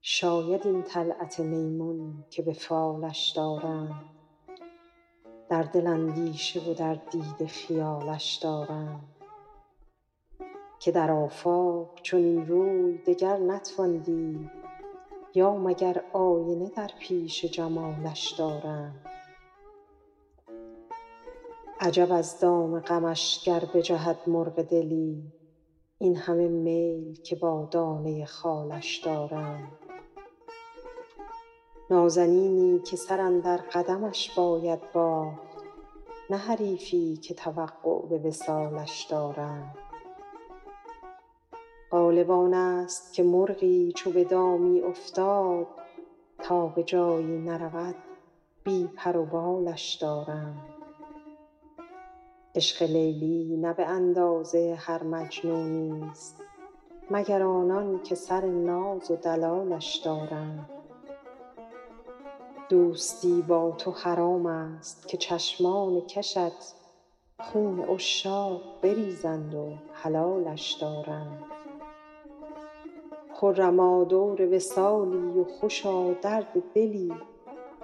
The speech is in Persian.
شاید این طلعت میمون که به فالش دارند در دل اندیشه و در دیده خیالش دارند که در آفاق چنین روی دگر نتوان دید یا مگر آینه در پیش جمالش دارند عجب از دام غمش گر بجهد مرغ دلی این همه میل که با دانه خالش دارند نازنینی که سر اندر قدمش باید باخت نه حریفی که توقع به وصالش دارند غالب آن ست که مرغی چو به دامی افتاد تا به جایی نرود بی پر و بالش دارند عشق لیلی نه به اندازه هر مجنونی ست مگر آنان که سر ناز و دلالش دارند دوستی با تو حرام ست که چشمان کشت خون عشاق بریزند و حلالش دارند خرما دور وصالی و خوشا درد دلی